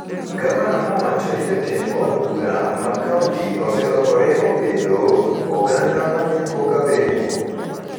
Gavana nowacho ni jotend od bura mag kaonti oselokore obedo ‘oganda ma neko ka weng'o’.